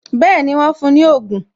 Bẹẹni, wọn fún ní ogun